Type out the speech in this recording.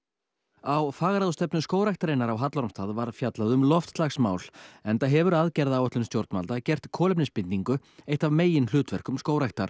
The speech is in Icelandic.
á fagráðstefnu Skógræktarinnar á Hallormsstað var fjallað um loftslagsmál enda hefur aðgerðaáætlun stjórnvalda gert kolefnisbindingu eitt af meginhlutverkum skógræktar